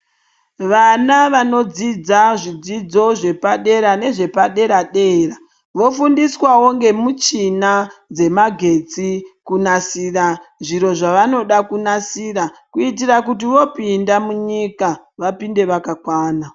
Vana vanodzidza zvidzidzo zvepadera nezvepadera dera vofundiswawo nemuchina dzemagetsi kunasira zviro zvavanoda kunasira kuitira kuti vopinda munyika vaounde vakawanda.